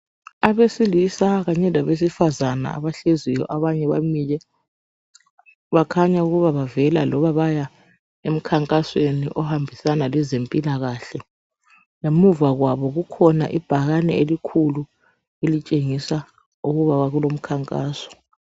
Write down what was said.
Abesilisa kanye labesifazana, abahleziyo, abanye bamile. Bakhanya ukuba bavela, loba baya, emkhankasweni, ophathelene lezempilakahle. Ngemuva kwabo kulebhakane, elikhulu, elitshengisa ukuthi kulomkhankaso.